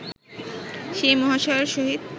সেই মহাশয়ের সহিত